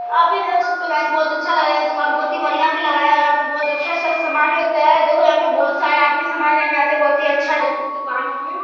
आप देख सकते हो गायिस बोहोत अच्छा लग रहा हैं। ये दुकान बोहोत ही बढ़िया लग रहा हैं और यहाँ पे बोहोत अच्छा-अच्छा सा सामान मिलता हैं। देखो यहाँ पे बोहोत सारे आदमी सामान लेने आते। बोहोत ही अच्छा दुकान है ये।